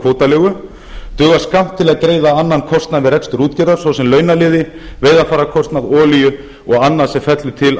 kvótaleigu dugar skammt til að greiða annan kostnað við rekstur útgerðar svo sem launaliði veiðarfærakostnað olíu og annað sem fellur til